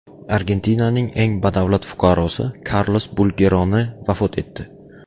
Argentinaning eng badavlat fuqarosi Karlos Bulgeroni vafot etdi.